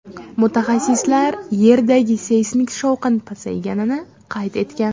Mutaxassislar Yerdagi seysmik shovqin pasayganini qayd etgan.